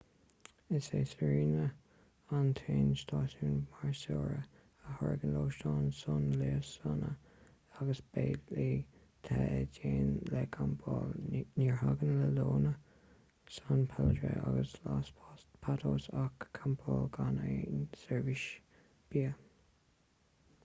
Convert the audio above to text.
is é sirena an t-aon stáisiún maoirseora a thairgeann lóistín suanliosanna agus béilí te i dteannta le campáil ní thairgeann la leona san pedrillo agus los patos ach campáil gan aon seirbhís bia